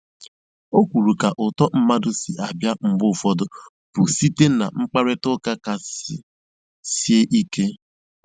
O kwuru ka uto mmadụ si abịa mgbe ụfọdụ bụ site na mkparitauka kasị sie ike.